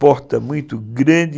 Porta muito grande.